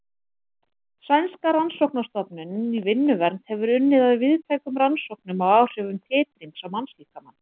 Sænska rannsóknastofnunin í vinnuvernd hefur unnið að víðtækum rannsóknum á áhrifum titrings á mannslíkamann.